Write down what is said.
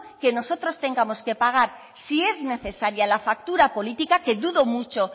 que nosotros tengamos que pagar si es necesaria la factura política que dudo mucho